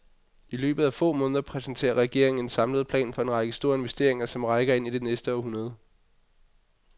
I løbet af få måneder præsenterer regeringen en samlet plan for en række store investeringer, som rækker ind i det næste århundrede.